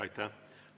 Aitäh!